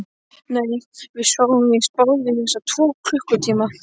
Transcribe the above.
Nei, við sváfum víst báðir í þessa tvo klukkutíma